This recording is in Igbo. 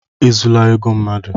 E zula ego mmadụ!